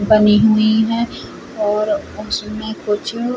बनी हुई है और उसमें कुछ --